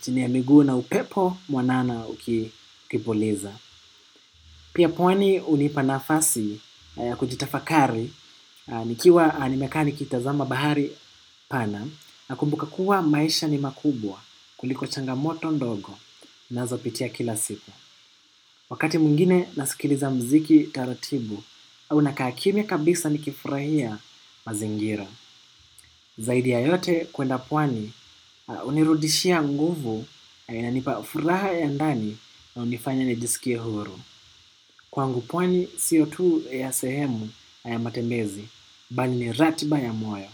chini ya miguu na upepo mwanana ukipuliza. Pia pwani hunipa nafasi ya kujitafakari nikiwa nimeka ni kitazama bahari pana na kumbuka kuwa maisha ni makubwa kuliko changamoto ndogo ninazopitia kila siku. Wakati mwingine nasikiliza mziki taratibu, au nakakimya kabisa nikifurahia mazingira. Zaidi ya yote kwenda pwani, hunirudishia nguvu ya niipa furaha ya ndani na hunifanya nijisikie huru. Kwangu pwani, siyo tu sehemu ya matembezi, bali ni ratiba ya moyo.